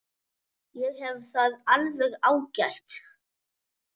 Ég hef það alveg ágætt.